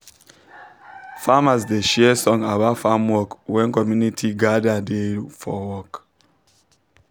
farmers da share song about farm work when commuinty gada da for work